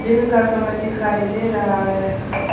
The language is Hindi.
दिन का समय दिखाई दे रहा हैं।